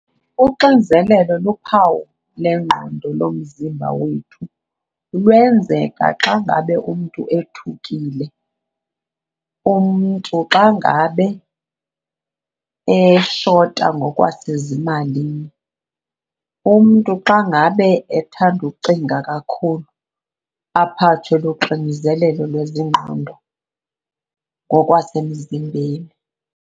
Uxinzelelo luphawu lengqondo, lomzimba wethu. Lwenzeka xa ngabe umntu ethukile, umntu xa ngabe eshota ngokwasezimalini, umntu xa ngabe ethanda ucinga kakhulu aphathwe luxinzelelo lwezengqondo ngokwasemzimbeni.